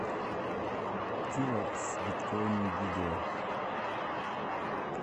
тилэкс биткоин видео